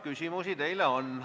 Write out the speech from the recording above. Ja küsimusi teile on.